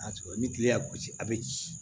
ni kile y'a gosi a bɛ ci